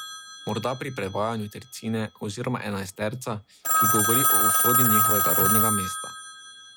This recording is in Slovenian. Morda pri prevajanju tercine oziroma enajsterca, ki govori o usodi njihovega rodnega mesta.